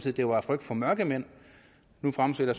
at det var af frygt for mørkemænd nu fremsætter